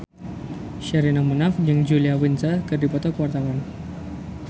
Sherina Munaf jeung Julia Winter keur dipoto ku wartawan